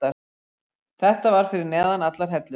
Þetta var fyrir neðan allar hellur.